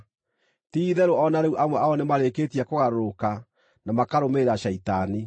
Ti-itherũ o na rĩu amwe ao nĩmarĩkĩtie kũgarũrũka na makarũmĩrĩra Shaitani.